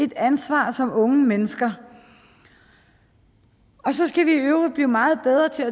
et ansvar som unge mennesker så skal vi i øvrigt blive meget bedre til